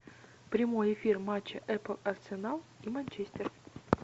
прямой эфир матча апл арсенал и манчестер